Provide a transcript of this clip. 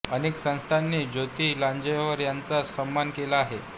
अनेक संस्थांनी ज्योती लांजेवार यांचा सन्मान केला आहे